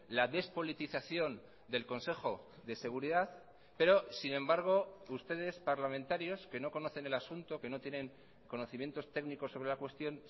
la despolitización del consejo de seguridad pero sin embargo ustedes parlamentarios que no conocen el asunto que no tienen conocimientos técnicos sobre la cuestión